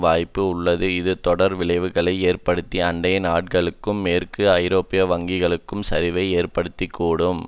வாய்ப்பு உள்ளது இது தொடர் விளைவுகளை ஏற்படுத்தி அண்டை நாடுகளிலும் மேற்கு ஐரோப்பிய வங்கிகளிலும் சரிவை ஏற்படுத்த கூடும்